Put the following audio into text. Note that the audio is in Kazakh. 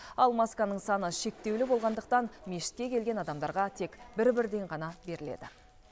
ал масканың саны шектеулі болғандықтан мешітке келген адамдарға тек бір бірден ғана беріледі